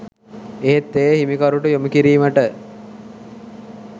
එහෙත් එය හිමිකරුට යොමු කිරීමට